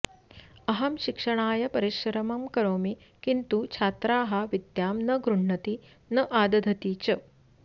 अहं शिक्षणाय परिश्रमं करोमि किन्तु छात्राः विद्यां न गृह्णन्ति न आदधति च